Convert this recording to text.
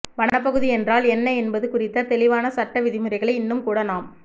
வனப் பகுதி என்றால் என்ன என்பது குறித்த தெளிவான சட்ட விதிமுறைகளை இன்னும்கூட நாம்